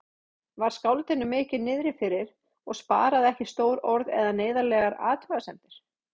Var skáldinu mikið niðrifyrir og sparaði ekki stór orð eða neyðarlegar athugasemdir.